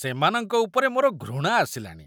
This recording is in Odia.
ସେମାନଙ୍କ ଉପରେ ମୋର ଘୃଣା ଆସିଲାଣି।